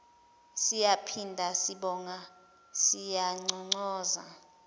siyaphinda sibonga siyanconcoza